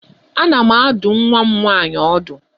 Ana m adụ nwa m nwaanyị ọdụ.